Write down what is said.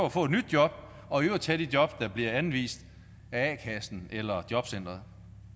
at få et nyt job og i øvrigt tage de jobs der bliver anvist af a kassen eller jobcenteret